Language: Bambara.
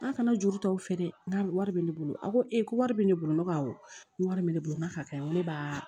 N'a kana juru ta aw fɛ dɛ wari bɛ ne bolo a ko ee ko wari bɛ ne bolo ne ko awɔ n ko wari bɛ ne bolo n k'a ka ɲi ko ne ba